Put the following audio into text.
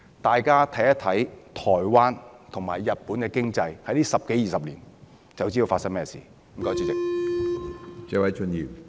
大家看看台灣和日本這十多二十年來的經濟，便會知道是甚麼一回事了。